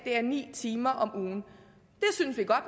er ni timer om ugen